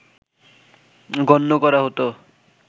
গণ্য করা হতো